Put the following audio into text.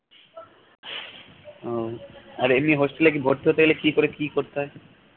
উহ আর এমনি hostel এ কি ভর্তি হতে গেলে কি করে কি করতে হয়